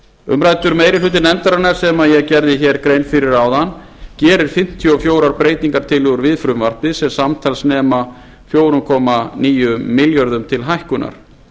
umræddur meiri hluti nefndarinnar sem ég gerði hér grein fyrir áðan gerir fimmtíu og fjórar breytingartillögur við frumvarpið sem samtals nema fjögur þúsund níu hundruð þrjátíu og eitt milljörðum króna til hækkunar